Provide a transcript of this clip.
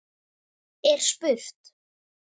er spurt.